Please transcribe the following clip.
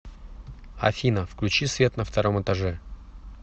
афина включи свет на втором этаже